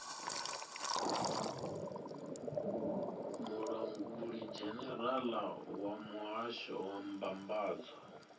mulangulidzhenerala wa muhasho wa mbambadzo